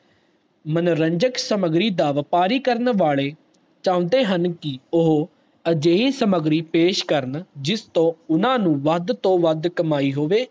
ਮਨੋਰੰਜਕ ਸਮੱਗਰੀ ਦਾ ਵਪਾਰੀ ਕਰਨ ਵਾਲੇ ਚੌਂਦੇ ਹਨ ਕਿ ਉਹ ਅਜਜੇਹੀ ਸਮਗਰੀ ਪੇਸ਼ ਕਰਨ ਜਿਸਤੋ ਉਨ੍ਹਾਂ ਨੂੰ ਵੱਧ ਤੋਂ ਵੱਧ ਕਮਾਈ ਹੋਵੇ